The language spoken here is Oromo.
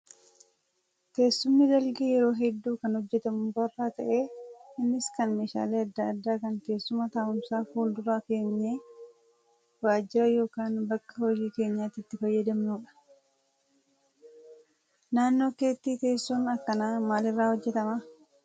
Teessumni dalgee yeroo hedduu kan hojjatamu mukarraa ta'ee innis kan meeshaalee adda addaa kan teessuma taa'umsaa fuuldura keenyee waajjira yookaan bakka hojii keenyaatti itti fayyadamnudha. Naannoo keetti teessoon akkanaa maal irraa hojjatama?